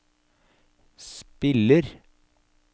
spiller